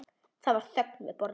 Það var þögn við borðið.